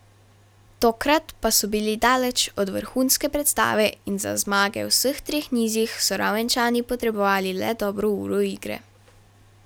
Tokrat pa so bili daleč od vrhunske predstave in za zmage v vseh treh nizih so Ravenčani potrebovali le dobro uro igre.